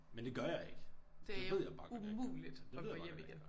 Men det gør jeg ikke det ved jeg bare godt jeg ikke gør. Det ved jeg bare godt ikke jeg gør